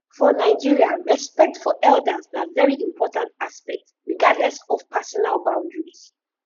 for nigeria respect for elders na very important aspect regardless of personal boundaries